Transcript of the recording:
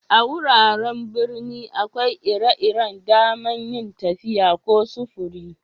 A'wuraren birni akwai ire-iren da'man yin tafiya ko sufure.